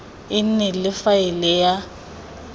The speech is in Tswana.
e nne le faele ya